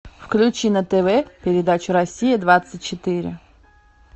включи на тв передачу россия двадцать четыре